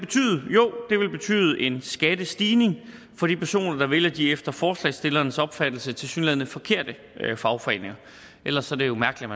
det vil betyde en skattestigning for de personer der vælger de efter forslagsstillernes opfattelse tilsyneladende forkerte fagforeninger ellers er det jo mærkeligt